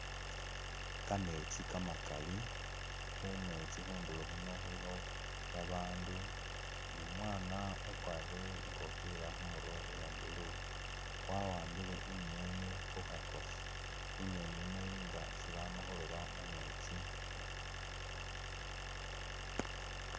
Kametsi kamakaali khundulo khwe kametsi khuuno khulikho babandu numwana ukwarile ikofila khumurwe ya'blue, wa'ambile i'ngeni khukhakosi i'ngeni yiino ili nga isi bamakhuloba mumetsi